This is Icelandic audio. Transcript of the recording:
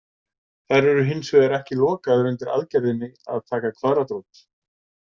Þær eru hins vegar ekki lokaðar undir aðgerðinni að taka kvaðratrót.